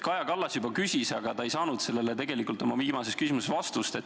Kaja Kallas juba küsis seda oma viimases küsimuses, aga ta ei saanud sellele tegelikult vastust.